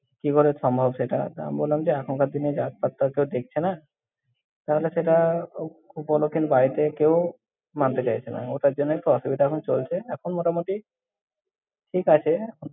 কি করে সম্ভব সেটা? তা, আমি বললাম যে এখনকার দিনে জাত-পাত তো কেউ দেখছে না, তাহলে সেটা উপ্~ উপলকের বাড়িতে কেউ মানে চাইছে না। ওটার জন্যই একটু অসুবিধা এখন চলছে, এখন মোটামুটি ঠিক আছে।